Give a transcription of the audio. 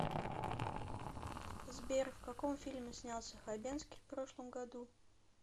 сбер в каком фильме снялся хабенскии в прошлом году